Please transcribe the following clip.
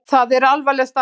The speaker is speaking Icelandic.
Það er alvarleg staða.